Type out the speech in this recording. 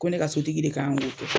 Ko ne ka sotigi de kan k'o kɛ.